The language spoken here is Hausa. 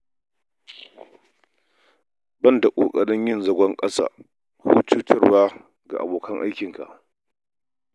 Ban da ƙoƙarin yin zagon ƙasa ko cutarwa ga abokan aikinka.